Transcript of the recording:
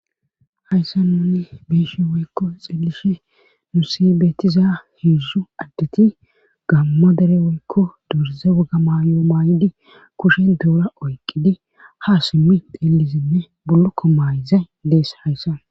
Hayssa nuni beeshi woykko xillishe nu si beetiza heedzu addeti gammadere woykko duurize waga mayo maaydi kushe doora oyqqidi ha simmi dellizinne bullukko mayze deessa hayssa.